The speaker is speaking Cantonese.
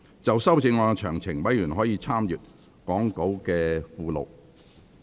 就修正案詳情，委員可參閱講稿附錄。